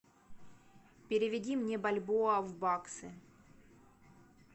переведи мне бальбоа в баксы